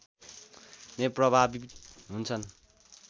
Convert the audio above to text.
नै प्रभावी हुन्छन्